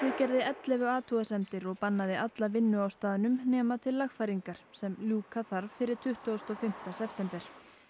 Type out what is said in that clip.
gerði ellefu athugasemdir og bannaði alla vinnu á staðnum nema til lagfæringar sem ljúka þarf fyrir tuttugasta og fimmta september